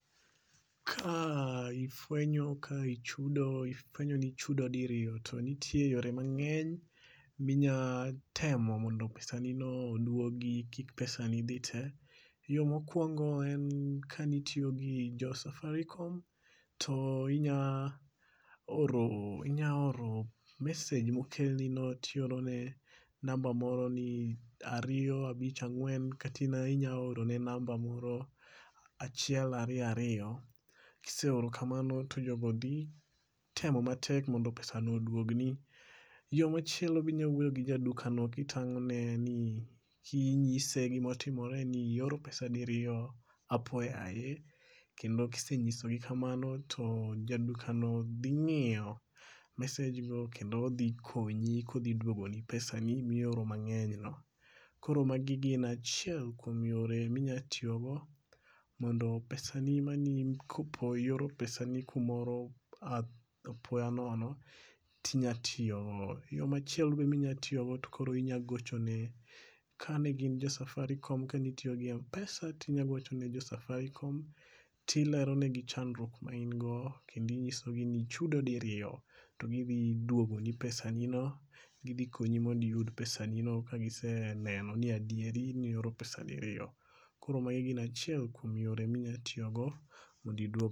Ka ifwenyo ka ichudo ifwenyo ni ichudo diriyo to nite yore mang'eny minyatemo mondo pesani no oduogi kik pesani dhi te. Yo mokwongo en kanitiyo gi jo safaricom to inya oro message mokelnino ti oro ne namba moro ni ariyo abich ang'wen kata inya oro ne namba moro achiel ariyo ariyo. Kise oro kamano to jogo dhi temo matek mondo pesano oduogni. Yo machielo bi inya wuoyo gi ja duka no kitang'one ni inyise gimotimore ni i oro pesa diriyo apoyaye. Kendo kisenyiso gi kamano to jaduka no dhi ng'iyo message go kendo odhi konyi kodhi duogoni pesani mioro mang'eny go. Koro magi en achiel kuom yore mi nya tiyogo mondo pesani mani kopo i oro pesani kumoro apoyonono ti nya tiyo go. Yo machielo be minyatiyogo to koro inyagochone ka ne gin jo safaricom kanitiyo gi Mpesa tinyagochone jo safaricom tileronegi chandruik ma in go kendo inyisogi ni nichudo diriyo to gidhi duogoni pesanino. Kidhi konyi mond iyud pesanino ka giseneno ni adieri ni oro pesa diriyo. Koro magi gin achiel kuom yore mi nyatiyogo mondo iduog.